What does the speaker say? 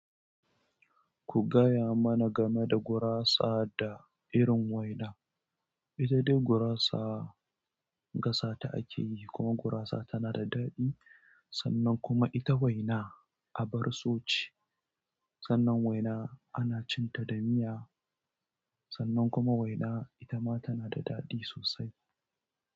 Ku gaya mana game da gurasa da irin waina. Ita dai gurasa gasa ta ake yi, kuma gurasa tana da daɗi. Sannan kuma ita waina abar so ce. Sannan waina ana cinta da miya sannan kuma waina ita ma tana da daɗi sosai.